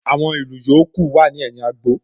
Àwọn ìlù yòókù wà ní ẹ̀yìn agbo